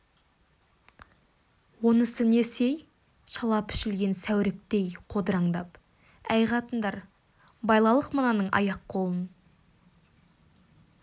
онысы несі-ей шала пішілген сәуріктей қодыраңдап әй қатындар байлалық мынаның аяқ-қолын